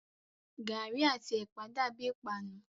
Gàrí àti ẹ̀pà dàbíi ìpanu.